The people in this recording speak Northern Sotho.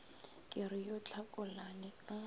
ke re yo tlhakolane a